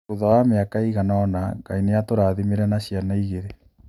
Thutha wa mĩaka ĩigana ũna, Ngai nĩ aatũrathimire na ciana igĩrĩ.